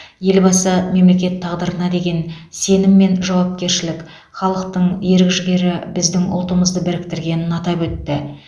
елбасы мемлекет тағдырына деген сенім пен жауапкершілік халықтың ерік жігері біздің ұлтымызды біріктіргенін атап өтті